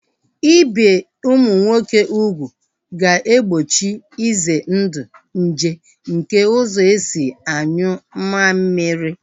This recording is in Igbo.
Ibi ụmụ nwoke ugwu ga-egbochi ize ndụ nje nke ụzọ esi anyụ mammiri